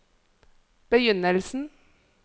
begynnelsen